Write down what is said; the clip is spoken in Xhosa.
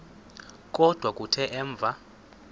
kodwa kuthe emva